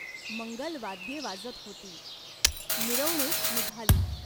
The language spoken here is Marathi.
मंगल वाद्ये वाजत होती. मिरवणूक निघाली.